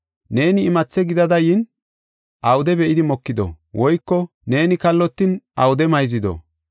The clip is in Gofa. Neeni imathe gidada yin awude be7idi mokido? Woyko neeni kallotin awude mayzido?